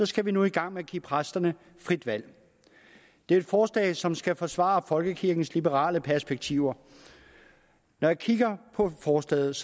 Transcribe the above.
skal vi nu i gang med at give præsterne frit valg det er et forslag som skal forsvare folkekirkens liberale perspektiver når jeg kigger på forslaget